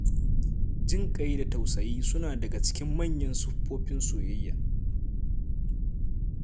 Jin ƙai da tausayi suna daga cikin manyan siffofin soyayya.